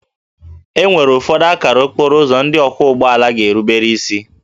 E nwere ụfọdụ akara okporo ụzọ ndị ọkwọ ụgbọ ala ga-erubere isi